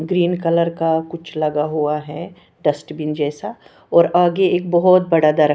green colour का कुछ लगा हुआ है डस्ट्बिन जैसा और आगे एक बहुत बड़ा दर--